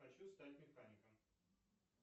хочу стать механиком